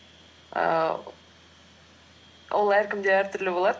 ііі ол әркімде әртүрлі болады